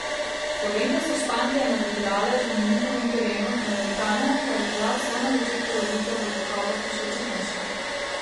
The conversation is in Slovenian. Slovenke so Španke nadigrale že na njihovem terenu, na nevtralnem pa je bila vsaj na začetku razlika v kakovosti še očitnejša.